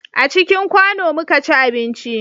A cikin kwano mu ka ci abinci